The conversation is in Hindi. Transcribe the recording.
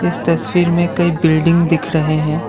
इस तस्वीर में कई बिल्डिंग दिख रहे हैं।